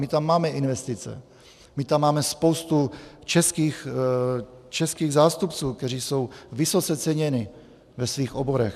My tam máme investice, my tam máme spoustu českých zástupců, kteří jsou vysoce ceněni ve svých oborech.